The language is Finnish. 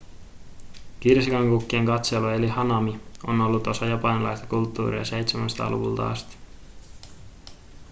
kirsikankukkien katselu eli hanami on ollut osa japanilaista kulttuuria 700-luvulta asti